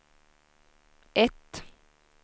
ett